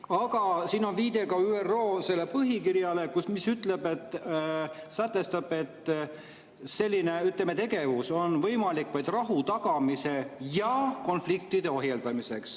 Aga siin on viide ka ÜRO põhikirjale, mis sätestab, et selline tegevus on võimalik vaid rahu tagamiseks ja konfliktide ohjeldamiseks.